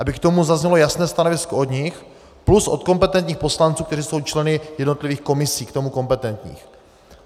Aby k tomu zaznělo jasné stanovisko od nich plus od kompetentních poslanců, kteří jsou členy jednotlivých komisí k tomu kompetentních.